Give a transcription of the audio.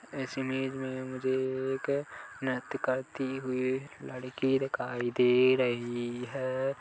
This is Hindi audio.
इस इमेज में मुझे एक नृत्य करती हुई लड़की दिखाई दे रही है ।